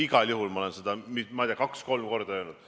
Igal juhul olen ma seda, ma ei tea, kaks või kolm korda öelnud.